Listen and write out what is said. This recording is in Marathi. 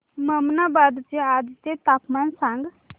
ममनाबाद चे आजचे तापमान सांग